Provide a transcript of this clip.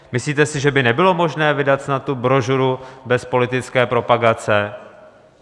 Myslíte snad, že by nebylo možné vydat snad tu brožuru bez politické propagace?